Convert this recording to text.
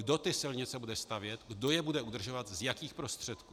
Kdo ty silnice bude stavět, kdo je bude udržovat, z jakých prostředků.